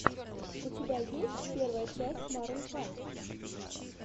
у тебя есть первая часть марун файв